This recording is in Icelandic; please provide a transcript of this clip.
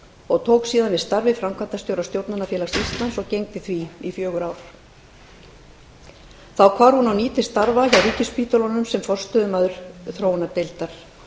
og tók síðan við starfi framkvæmdastjóra stjórnunarfélags íslands og gegndi því í fjögur ár þá hvarf hún á ný til starfa hjá ríkisspítölunum sem forstöðumaður þróunardeildar